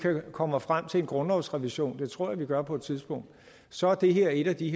kommer frem til en grundlovsrevision og det tror jeg vi gør på et tidspunkt så er det her et af de